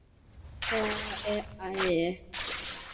Já, við þau bæði.